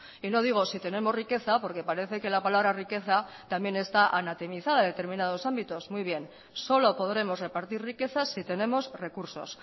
y no digo si tenemos riqueza porque parece que la palabra riqueza está anatomizada en determinados ámbitos muy bien solo podemos repartir riqueza si tenemos recursos